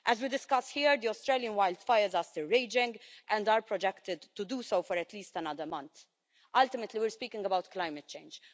As we discuss here, the Australian wildfires are still raging, and are projected to do so for at least another month. Ultimately we are speaking about climate change.